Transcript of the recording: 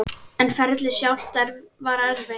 En ferlið sjálft var erfitt?